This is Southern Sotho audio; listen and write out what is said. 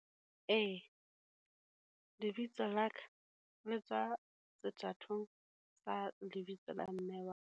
Ee, lebitso la ka le tswa sethatong sa lebitso la mme wa ka.